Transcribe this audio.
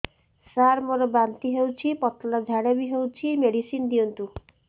ସାର ମୋର ବାନ୍ତି ହଉଚି ପତଲା ଝାଡା ବି ହଉଚି ମେଡିସିନ ଦିଅନ୍ତୁ